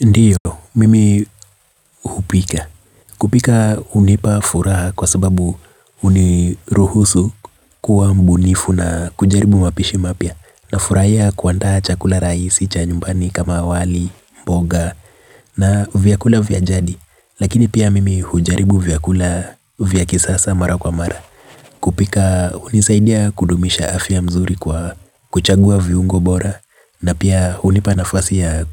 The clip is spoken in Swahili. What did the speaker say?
Ndiyo mimi hupika. Kupika unipa furaha kwa sababu uniruhusu kuwa mbunifu na kujaribu mapishi mapia. Na furaiya kuantaha chakula raisi cha nyumbani kama wali, mboga na vyakula vyajadi. Lakini pia mimi ujaribu vyakula vyakisasa mara kwa mara. Kupika unisaidia kudumisha afia mzuri kwa kuchagua viungo bora. Na pia unipanafasi ya